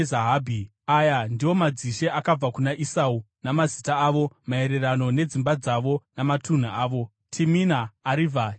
Aya ndiwo madzishe akabva kuna Esau, namazita avo, maererano nedzimba dzavo namatunhu avo: Timina, Arivha, Jeteti,